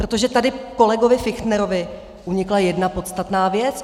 Protože tady kolegovi Fichtnerovi unikla jedna podstatná věc.